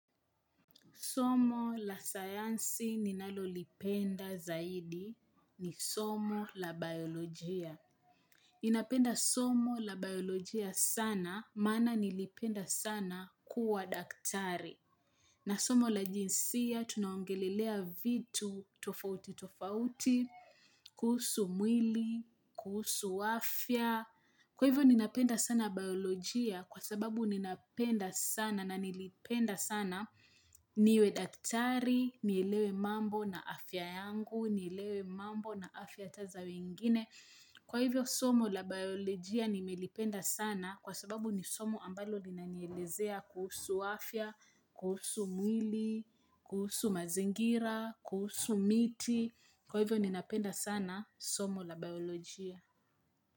Somo la sayansi ninalolipenda zaidi ni somo la biolojia. Ninapenda somo la biolojia sana, maana nilipenda sana kuwa daktari. Na somo la jinsia, tunaongelelea vitu tofauti tofauti, kuhusu mwili, kuhusu afya. Kwa hivyo ninapenda sana biolojia kwa sababu ninapenda sana na nilipenda sana niwe daktari, nielewe mambo na afya yangu, nielewe mambo na afya hata za wengine. Kwa hivyo somo la biolojia nimelipenda sana kwa sababu ni somo ambalo linanielezea kuhusu afya, kuhusu mwili, kuhusu mazingira, kuhusu miti. Kwa hivyo ninapenda sana somo la biolojia.